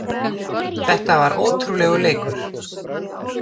Þetta var ótrúlegur leikur